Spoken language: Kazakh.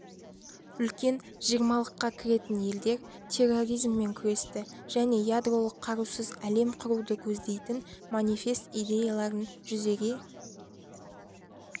үлкен жиырмалыққа кіретін елдер терроризммен күресті және ядролық қарусыз әлем құруды көздейтін манифест идеяларын жүзеге